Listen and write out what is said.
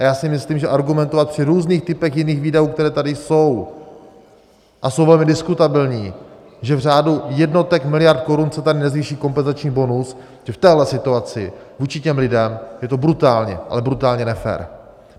A já si myslím, že argumentovat při různých typech jiných výdajů, které tady jsou - a jsou velmi diskutabilní, že v řádu jednotek miliard korun se tady nezvýší kompenzační bonus, že v téhle situaci vůči těm lidem je to brutálně, ale brutálně nefér.